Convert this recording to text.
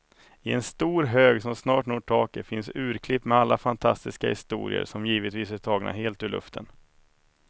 I en stor hög som snart når taket finns urklipp med alla fantastiska historier, som givetvis är tagna helt ur luften.